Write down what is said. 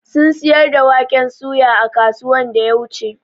sun siyar da waƙen soya a kasuwan da ya wuche.